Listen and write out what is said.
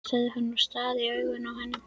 sagði hann og starði í augun á henni.